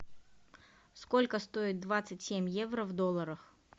сколько стоит двадцать семь евро в долларах